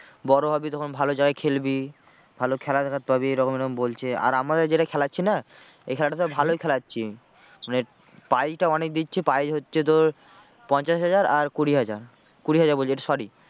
বড়ো হবি যখন ভালো জায়গায় খেলবি। ভালো খেলার offer পাবি এরকম এরকম বলছে আর আমাদের যেটা খেলাচ্ছি না এই খেলাটাতে ভালোই খেলাচ্ছি মানে prize টা অনেক দিচ্ছি prize হচ্ছে তোর পঞ্চাশ হাজার আর কুড়ি হাজার, কুড়ি হাজার বলছি এটা sorry